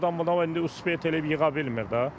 Elə adam var amma indi uspet eləyib yığa bilmir də.